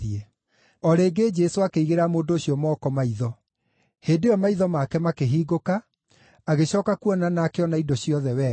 O rĩngĩ Jesũ akĩigĩrĩra mũndũ ũcio moko maitho. Hĩndĩ ĩyo maitho make makĩhingũka, agĩcooka kuona na akĩona indo ciothe wega.